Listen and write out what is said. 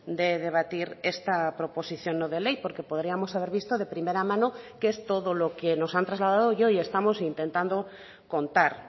de debatir esta proposición no de ley porque podríamos haber visto de primera mano qué es todo lo que nos han trasladado y hoy estamos intentando contar